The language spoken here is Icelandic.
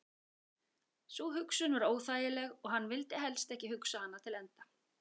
Sú hugsun var óþægileg og hann vildi helst ekki hugsa hana til enda.